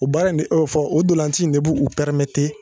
U baara in de o fɔ o donlanci in de b'u u pɛrimete